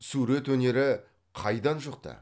сурет өнері қайдан жұқты